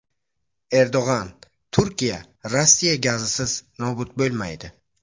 Erdo‘g‘on: Turkiya Rossiya gazisiz nobud bo‘lmaydi .